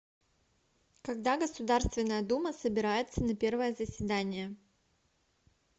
когда государственная дума собирается на первое заседание